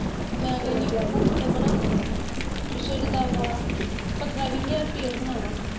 ਮੈਂ ਕਹਿਣੀ ਪਿੱਛੇ ਜੇ ਦੱਸ ਬਾਰਾਂ ਪੰਦਰਾਂ ਵੀਹ ਹਜ਼ਾਰ ਰੁਪਇਆ ਹੋਣਾ ਵਾ।